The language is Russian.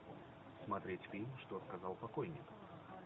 смотреть фильм что сказал покойник